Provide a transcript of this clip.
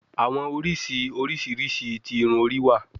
Awọn oriṣi oriṣiriṣi ti irun ori wa